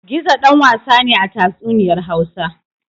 Gizo ɗan wasa ne a tatsuniyar Hausa.